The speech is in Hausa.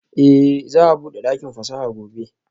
Eh za'a bude dakin fasaha gobe?